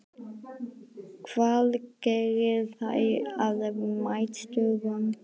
Hvað gerir þær að meisturum?